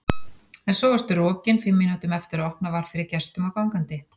En svo varstu rokin fimm mínútum eftir að opnað var fyrir gestum og gangandi.